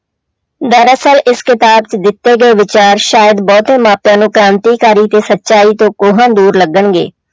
ਦਰਅਸਲ ਇਸ ਕਿਤਾਬ 'ਚ ਦਿੱਤੇ ਗਏ ਵਿਚਾਰ ਸ਼ਾਇਦ ਬਹੁਤੇ ਮਾਪਿਆਂ ਨੂੰ ਕ੍ਰਾਂਤੀਕਾਰੀ ਤੇ ਸਚਾਈ ਤੋਂ ਕੋਹਾਂ ਦੂਰ ਲੱਗਣਗੇ।